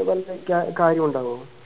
വല്ല കാര്യവുണ്ടാവോ